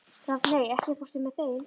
Rafney, ekki fórstu með þeim?